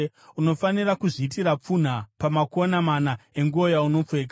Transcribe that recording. Unofanira kuzviitira pfunha pamakona mana enguo yaunopfeka.